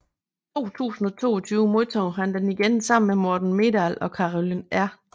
I 2022 modtog han den igen sammen med Morten Meldal og Carolyn R